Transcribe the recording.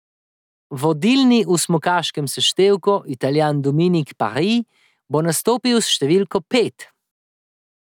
Vodilni v smukaškem seštevku Italijan Dominik Paris bo nastopil s številko pet.